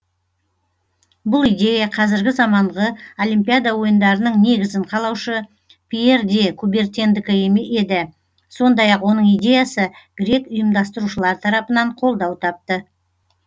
бұл идея қазіргі заманғы олимпиада ойындарының негізін қалаушы пьер де кубертендікі еді сондай ақ оның идеясы грек ұйымдастырушылар тарапынан қолдау тапты